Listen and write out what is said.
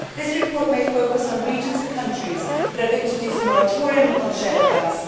This report may focus on regions and countries that have introduced a moratorium on shale gas.